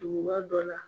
Duguba dɔ la